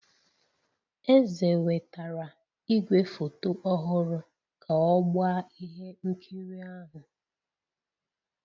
Eze wetara igwefoto ọhụrụ ka ọ gbaa ihe nkiri ahụ